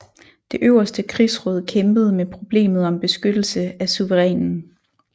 Det øverste krigsråd kæmpede med problemet om beskyttelse af suverænen